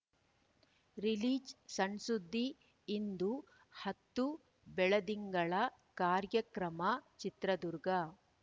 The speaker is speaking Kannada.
ರಿಲೀಜ್‌ಸಣ್‌ಸುದ್ದಿ ಇಂದು ಹತ್ತು ಬೆಳದಿಂಗಳ ಕಾರ್ಯಕ್ರಮ ಚಿತ್ರದುರ್ಗ